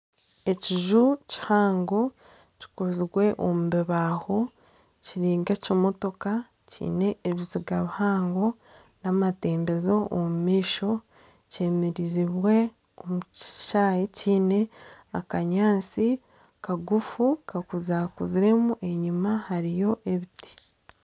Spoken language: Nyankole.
Ekiju kihango kikozirwe omu bibaaho kiri k'ekimotoka kiine ebiziga bihango kiine amatembezo omu maisho, kyemerezibwe omu kishaayi kiine akanyaatsi kagufu kakuzakuziremu enyima hariyo ebiti